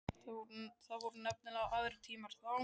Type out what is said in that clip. Það voru nefnilega aðrir tímar þá.